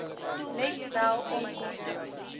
let wel onkoste